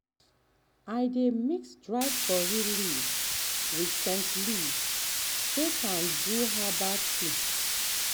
um i dey mix dry curry um leaf with um scent leaf take do herbal tea.